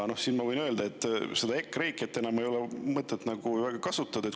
Ma võin öelda, et EKREIKE‑t ei ole enam mõtet väga kasutada.